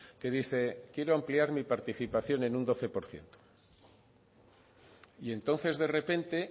que dice quiero ampliar mi participación en un doce por ciento y entonces de repente